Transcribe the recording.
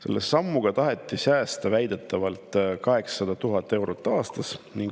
Selle sammuga taheti väidetavalt säästa 800 000 eurot aastas.